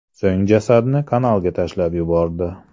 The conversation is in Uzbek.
So‘ng jasadni kanalga tashlab yubordi.